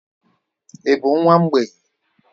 Ị bụ nwa mgbei?